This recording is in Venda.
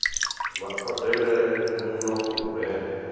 vha odele muno u re